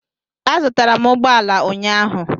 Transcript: Azụtara m ụgbọ ala ụnyahụ.